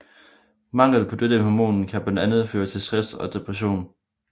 Mangel på dette hormon kan blandt andet føre til stress og depression